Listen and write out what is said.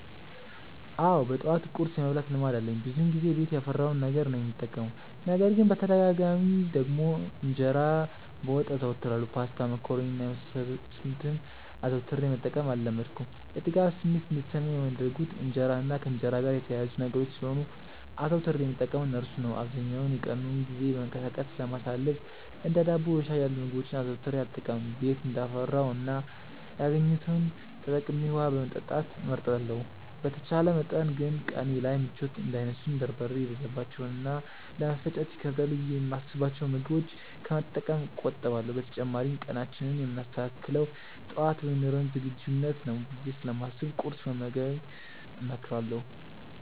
አዎ በጠዋት ቁርስ የመብላት ልማድ አለኝ። ብዙውን ጊዜ ቤት ያፈራውን ነገር ነው የምጠቀመው። ነገር ግን በተደጋጋሚ ደግሞ እንጀራ በወጥ አዘወትራለሁ። ፓስታ፣ መኮሮኒ እና የመሳሰሉትን አዘውትሬ መጠቀም አልለመድኩም። የጥጋብ ስሜት እንዲሰማኝ የሚያደርጉት እንጀራ እና ከእንጀራ ጋር የተያያዙ ነገሮች ስለሆኑ አዘውትሬ የምጠቀመው እርሱን ነው። አብዛኛውን የቀኑን ጊዜ በመንቀሳቀስ ስለማሳልፍ እንደ ዳቦ በሻይ ያሉ ምግቦችን አዘውትሬ አልጠቀምም። ቤት እንዳፈራው እና ያገኘሁትን ተጠቅሜ ውሀ መጠጣት እመርጣለሁ። በተቻለ መጠን ግን ቀኔ ላይ ምቾት እንዳይነሱኝ በርበሬ የበዛባቸውን እና ለመፈጨት ይከብዳሉ ብዬ የማስብቸውን ምግቦች ከመጠቀም እቆጠባለሁ። በተጨማሪም ቀናችንን የምናስተካክለው ጠዋት በሚኖረን ዝግጁነት ነው ብዬ ስለማስብ ቁርስ መመገብን እመክራለሁ።